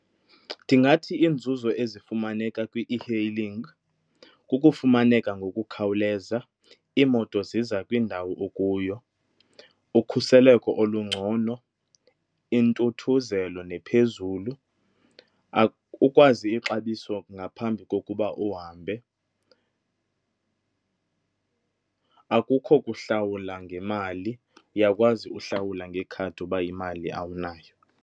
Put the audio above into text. Ndingathi iinzuzo ezifumaneka kwi-e-hailing kukufumaneka ngokukhawuleza, iimoto ziza kwindawo okuyo, ukhuseleko olungcono, intuthuzelo nephezulu, ukwazi ixabiso ngaphambi kokuba uhambe. Akukho kuhlawula ngemali, uyakwazi uhlawula ngekhadi uba imali awunayo.